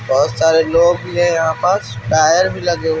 बहुत सारे लोग भी हैं यहां पास टायर भी लगे हुए --